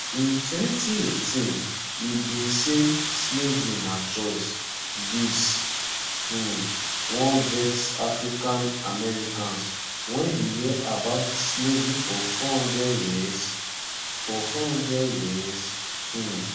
in 2018 e bin say slavery na choice dis um wan vex africa americans wen you hear about slavery for 400 years for 400 years um